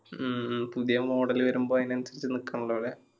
ഉം പുതിയ model വരുമ്പൊ അയിന് അൻസരിച്ച് നിക്കന്നത് അതെ